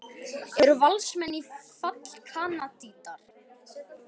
Eru Valsmenn fallkandídatar?